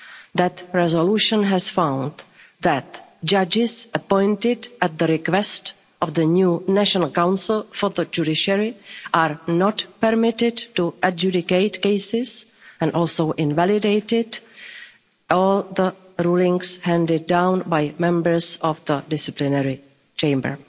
That resolution found that judges appointed at the request of the new National Council for the Judiciary are not permitted to adjudicate cases, and also invalidated all the rulings handed down by members of the Disciplinary Chamber.